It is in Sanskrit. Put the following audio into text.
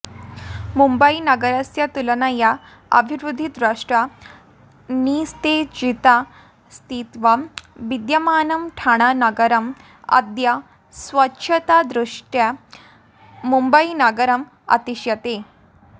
मुम्बयीनगरस्य तुलनया अभिवृद्धिदृष्ट्या निस्तेजितस्थित्यां विद्यमानं ठाणानगरम् अद्य स्वच्छतादृष्ट्या मुम्बयीनगरम् अतिशेते